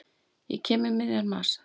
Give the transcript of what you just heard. Ég kem um miðjan mars.